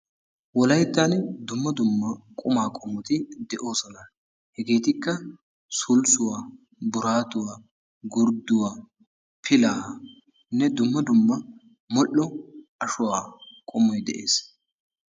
Wolayttan dumma dumma qumaa qomoti de'oosona. Hegeetikka sulssuwa, buraatuwa, gurdduwa, pilaaanne dumma dumma modho ashuwa qommoy de'ees.